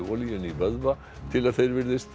olíunni í vöðva til að þeir virðist